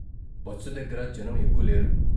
Bus దగ్గర జనం ఎక్కువ లేరు.